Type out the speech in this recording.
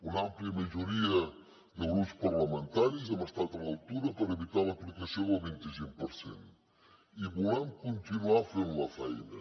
una àmplia majoria de grups parlamentaris hem estat a l’altura per evitar l’aplicació del vint i cinc per cent i volem continuar fent la feina